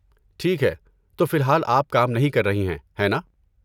ٹھیک ہے۔ تو فی الحال آپ کام نہیں کر رہی ہیں، ہے نا؟